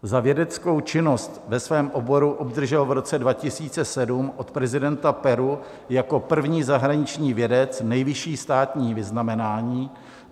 Za vědeckou činnost ve svém oboru obdržel v roce 2007 od prezidenta Peru jako první zahraniční vědec nejvyšší státní vyznamenání